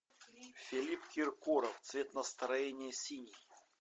филипп киркоров цвет настроения синий